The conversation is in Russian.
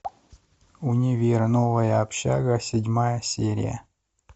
универ новая общага седьмая серия